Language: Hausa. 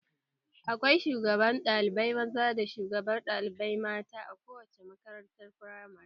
Akwai shugaban ɗalibai maza da shugabar ɗalibai mata a kowace makarantar firamare